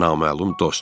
Naməlum dost.